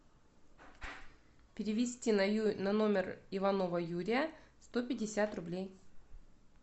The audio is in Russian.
перевести на номер иванова юрия сто пятьдесят рублей